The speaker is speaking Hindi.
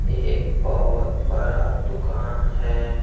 एक बहुत बरा दुकान है।